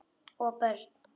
Og börn.